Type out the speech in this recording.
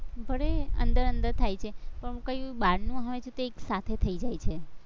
ભલે અંદર અંદર થાય છે પણ કઈ બારનું હોય તો કઈ સાથે થઇ જાય છે